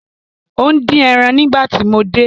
O n din eran nigbati mo de